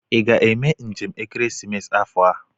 Ị ga-eme njem ekeresimesi afọ a?